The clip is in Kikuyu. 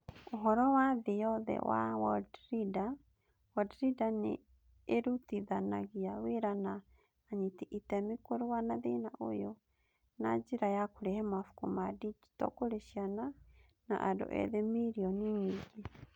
Ũhoro wa thĩ yothe wa Worldreader: Worldreader nĩ ĩrutithanagia wĩra na anyiti itemi kũrũa na thĩna ũyũ na njĩra ya kũrehe mabuku ma digito kũrĩ ciana na andũ ethĩ milioni nyingĩ.